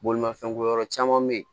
Bolimafɛnko yɔrɔ caman be ye